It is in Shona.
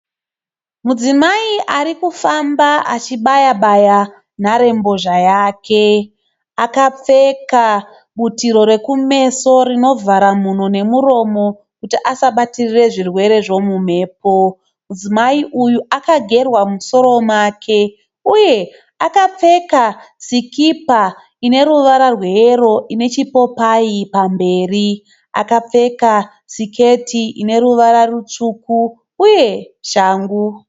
Mudzimai ari kufamba achibaya-baya nharembozha yake, akapfeka butiro rekumeso rinovhara mhuno nemuromo kuti asabatirire zvirwere zvemumhepo. Mudzimai uyu akagerwa musoro make uye akapfeka sikipa ineruvara rweyero ine chipopai pamberi, akapfeka siketi ine ruvara rutsvuku uye shangu.